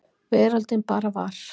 Veröldin bara var.